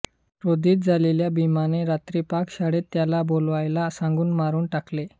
क्रोधित झालेल्या भीमाने रात्री पाकशाळेत त्याला बोलवायला सांगून मारुन टाकले